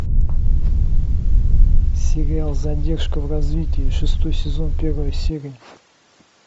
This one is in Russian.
сериал задержка в развитии шестой сезон первая серия